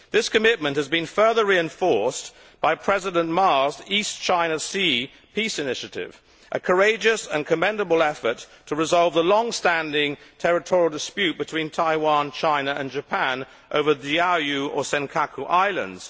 This commitment has been further reinforced by President Ma's East China Sea Peace Initiative, a courageous and commendable effort to resolve the long standing territorial dispute between Taiwan, China and Japan over the Diaoyu Islands Senkaku Islands.